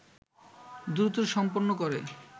দ্রুত সম্পন্ন করে